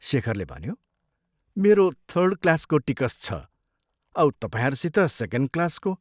शेखरले भन्यो " मेरो थर्ड क्लासको टिकस छ औ तपाईंहरूसित सेकेण्ड क्लासको।